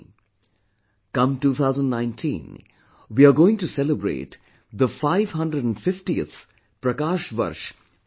Come 2019, we are going to celebrate the 550th PRAKASH VARSH of Guru Nanak Dev ji